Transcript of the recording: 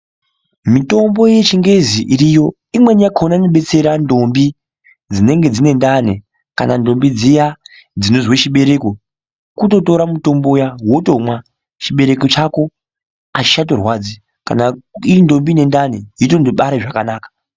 Mitombo yechingezi iriyo imweni yakona inobetsera ndombi dzinenge dzine ndani, kana ndombi dziya dzinozwe chibereko. Kutotora mutombo uya, wotomwa, chibereko chako hachichatorwadzi. Kana irindombi inendani, yotondobare zvakanaka.